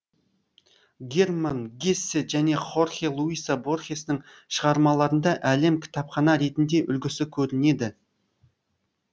герман гессе және хорхе луиса борхестің шығармаларында әлем кітапхана ретінде үлгісі көрінеді